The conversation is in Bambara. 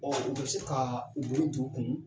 u bɛ se ka u bolo don u kun